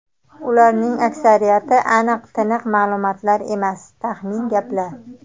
Ularning aksariyati aniq-tiniq ma’lumotlar emas, taxmin gaplar.